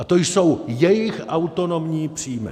A to jsou jejich autonomní příjmy.